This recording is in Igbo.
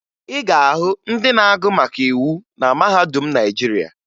Ị ga-ahụ ndị na-agụ maka iwu na mahadum Naịjirịa